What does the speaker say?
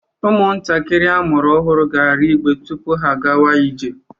Ụmụntakịrị amụrụ ọhụrụ ga-arị igbe tupu ha a gawa ije.